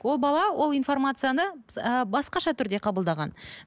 ол бала ол информацияны ы басқаша түрде қабылдаған